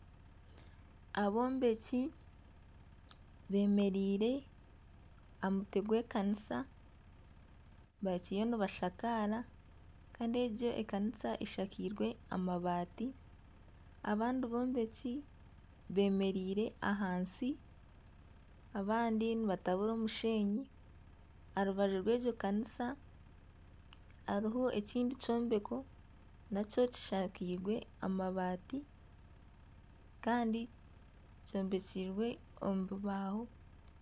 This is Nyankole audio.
Abombeki bemereire aha mutwe gw'ekanisa bakiriyo nibashakaara, kandi egi ekanisa eshakairwe amabaati abandi abombeki bemereire ahansi abandi nibatabura omushenyi, aha rubaju rwegyo kanisa hariho ekindi kyombeko nakyo kishakairwe amabaati kandi kyombekire omu bibaaho.